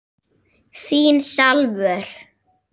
Þín Salvör.